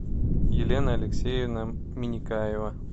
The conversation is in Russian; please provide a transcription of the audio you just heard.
елена алексеевна миникаева